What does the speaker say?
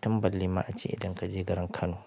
Tun balle ma ace idan ka je garin Kano.